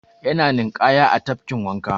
Yana ninƙaya a tafkin wanka.